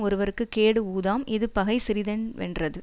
ஒருவர்க்குக் கேடு உளதாம் இது பகை சிறிதென் வென்றது